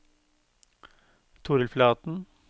Torill Flaten